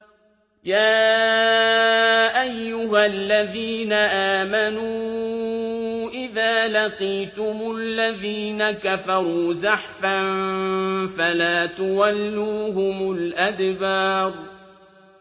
يَا أَيُّهَا الَّذِينَ آمَنُوا إِذَا لَقِيتُمُ الَّذِينَ كَفَرُوا زَحْفًا فَلَا تُوَلُّوهُمُ الْأَدْبَارَ